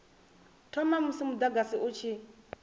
thoma musi mudagasi u tshi